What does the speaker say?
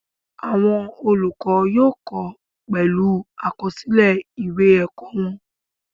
Awọn olukọ yóò kọ pẹlu awọn akọsilẹ ìwé ẹkọ wọn